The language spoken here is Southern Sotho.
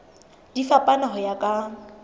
di fapana ho ya ka